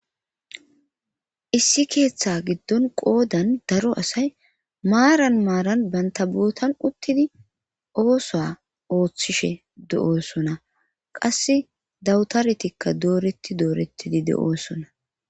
issi keeththa giddon qoodan daro asay maaran maaran banta bootan uttidi oosoa ooththishe de7oosona qasse dawutaretikka dooretti doorettidi de7oosona